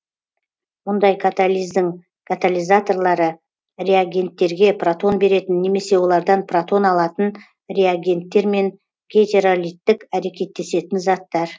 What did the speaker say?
мұндай катализдің катализаторлары реагенттерге протон беретін немесе олардан протон алатын реагенттер мен гетеролиттік әрекеттесетін заттар